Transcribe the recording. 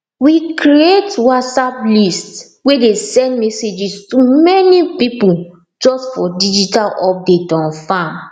we create whatsapp list way dey send messages to many people just for digital update on farm